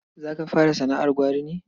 Za ka fara sana'ar gwari ne?